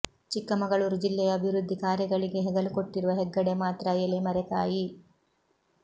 ಚಿಕ್ಕಮಗಳೂರು ಜಿಲ್ಲೆಯ ಅಭಿವೃದ್ದಿ ಕಾರ್ಯಗಳಿಗೆ ಹೆಗಲು ಕೊಟ್ಟಿರುವ ಹೆಗ್ಗಡೆ ಮಾತ್ರ ಎಲೆಮರೆ ಕಾಯಿ